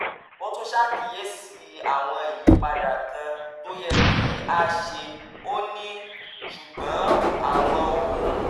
ó tún ṣàkíyèsí àwọn ìyípadà kan tó yẹ kí a ṣe ó ní: ṣùgbọ́n àwọn ohun